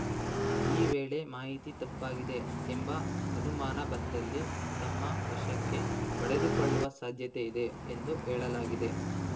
ಈ ವೇಳೆ ಮಾಹಿತಿ ತಪ್ಪಾಗಿದೆ ಎಂಬ ಅನುಮಾನ ಬಂದಲ್ಲಿ ತಮ್ಮ ವಶಕ್ಕೆ ಪಡೆದುಕೊಳ್ಳುವ ಸಾಧ್ಯತೆ ಇದೆ ಎಂದು ಹೇಳಲಾಗಿದೆ